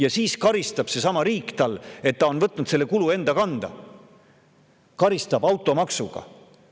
Ent siis karistab seesama riik inimest, kes on võtnud selle kulu enda kanda, automaksuga.